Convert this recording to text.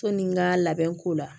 Sɔni n ka labɛnko la